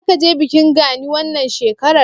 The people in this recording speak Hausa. Zaka je bikin Gani wannan shekarar?